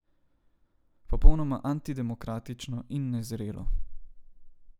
Popolnoma antidemokratično in nezrelo.